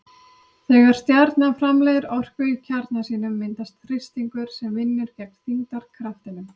Þegar stjarna framleiðir orku í kjarna sínum myndast þrýstingur sem vinnur gegn þyngdarkraftinum.